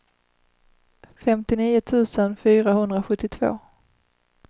femtionio tusen fyrahundrasjuttiotvå